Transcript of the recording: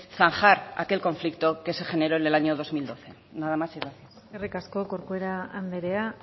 zanjar aquel conflicto que se generó en el año dos mil doce nada más y gracias eskerrik asko corcuera andrea